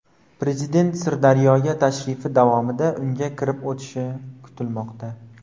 Prezident Sirdaryoga tashrifi davomida unga kirib o‘tishi kutilmoqda.